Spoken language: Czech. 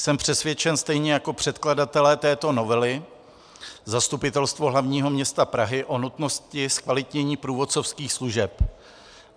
Jsem přesvědčen stejně jako předkladatelé této novely, Zastupitelstvo hlavního města Prahy, o nutnosti zkvalitnění průvodcovských služeb.